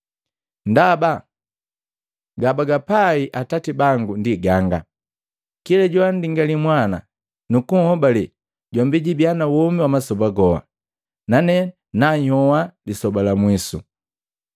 Ndaba gabagapai Atati bango ndi ganga, kila joandingali Mwana nukuhobale jombi jubiya na womi wa masoba goha. Nane nanhyoha lisoba la mwiso.”